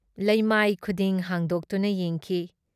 ꯂꯩꯃꯥꯏ ꯈꯨꯗꯤꯡ ꯍꯥꯡꯗꯣꯛꯇꯨꯅ ꯌꯦꯡꯈꯤ ꯫